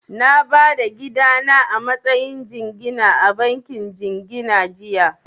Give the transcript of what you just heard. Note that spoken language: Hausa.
Na ba da gida na a matsayin jingina a bankin jingina jiya